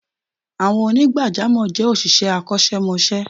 Àwọn onigbajamo je òṣìṣẹ́ akosemose